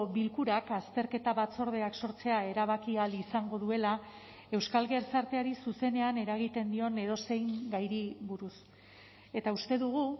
bilkurak azterketa batzordeak sortzea erabaki ahal izango duela euskal gizarteari zuzenean eragiten dion edozein gairi buruz eta uste dugu